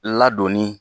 Ladonni